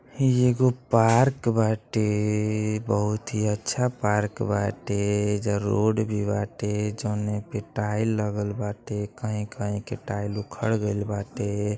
हइ एगो पार्क बाटे बहुत हि अच्छा पार्क बाटे ऐजा रोड भी बाटे जौन पे टाइल लागल बाटे कहीं-कहीं के टाइल उखड़ गईल बाटे।